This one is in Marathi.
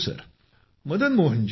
हो।